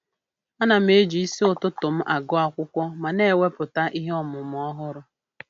Ana m eji isi ụtụtụ m agụ akwụkwọ ma na-ewepụta ihe ọmụmụ ọhụrụ.